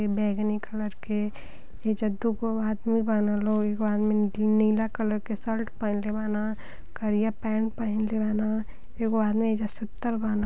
यह बैंगनी कलर के ईगो दो आदमी बना लो एक आदमी नीला कलर के शर्ट पहने बना करिया पैंट पहन लेवाना एक वह आदमी यह जा सुतल बना--